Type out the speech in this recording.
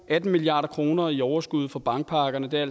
atten milliard kroner i overskud fra bankpakkerne det er